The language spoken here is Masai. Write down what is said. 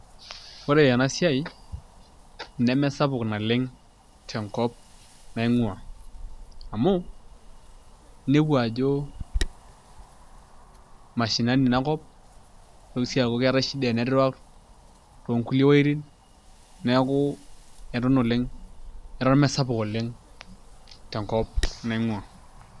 Ore ena siai nemesapuk naleng' tenkop naing'ua amu inepu ajo mashinani ina kop nitoki sii aaku keetai shida e network toonkulie wuojitin neeku eton mesapuk oleng' tenkop naing'uaa.